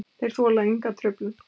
Og þeir þola enga truflun.